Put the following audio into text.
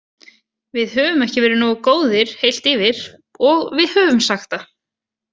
Við höfum ekki verið nógu góðir heilt yfir og við höfum sagt það.